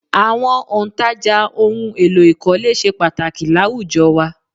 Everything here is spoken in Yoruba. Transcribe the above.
Àwọn òǹtajà ohun èlò ìkọ́lé ṣe pàtàkì láwùjọ wa